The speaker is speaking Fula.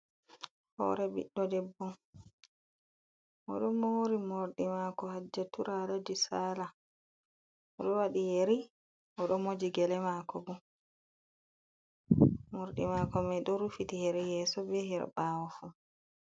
Horee ɓiɗɗo debbo oɗo mori morɗi mako haja tura alaji sala, oɗo waɗi yeri oɗo moji gele mako bo. mordi mako mai ɗo rufiti her yeso be her ɓawo fu.